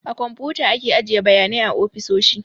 A komputa ake ajiye bayanai a ofisoshi